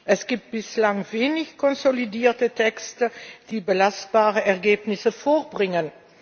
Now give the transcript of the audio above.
Es gibt bislang wenig konsolidierte Texte, die belastbare Ergebnisse vorbringen.